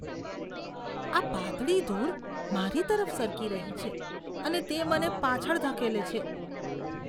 તે પાતળી ધૂળ મારી તરફ સરકી રહી છે અને તે મને પાછળ ધકેલે છે.